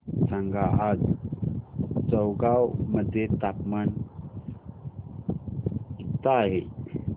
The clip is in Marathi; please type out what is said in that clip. सांगा आज चौगाव मध्ये तापमान किता आहे